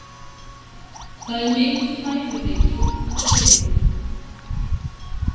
Það er mikill hæfileiki að gleyma.